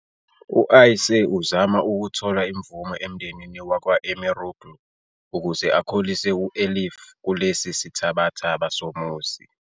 U-Ayşe uzama ukuthola imvume emndenini wakwa-Emiroğlu ukuze akhulise u-Elif kulesi sithabathaba somuzi.